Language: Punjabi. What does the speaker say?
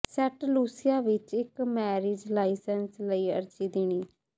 ਸੈਂਟ ਲੂਸੀਆ ਵਿੱਚ ਇੱਕ ਮੈਰਿਜ ਲਾਇਸੈਂਸ ਲਈ ਅਰਜ਼ੀ ਦੇਣੀ